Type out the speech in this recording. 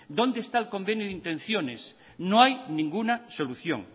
dónde está el convenio de intenciones no hay ninguna solución